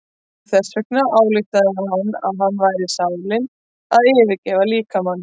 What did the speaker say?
Þess vegna ályktaði hann að þarna væri sálin að yfirgefa líkamann.